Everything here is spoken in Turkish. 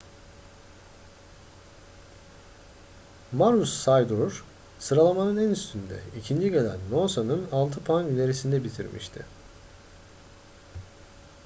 maroochydore sıralamanın üstünde ikinci gelen noosa'nın altı puan ilerisinde bitirmişti